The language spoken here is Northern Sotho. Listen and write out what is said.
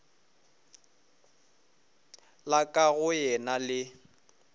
la ka go yena le